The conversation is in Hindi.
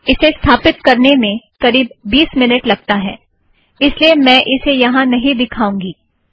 इसे स्थापित करने में करीब बीस मिनीट लगता है इस लिए मैं इसे यहाँ नहीं दिखाऊँगी